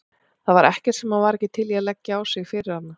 Það var ekkert sem hann var ekki til í að leggja á sig fyrir hana.